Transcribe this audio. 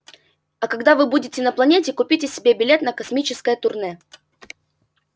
а когда вы будете на планете купите себе билет на космическое турне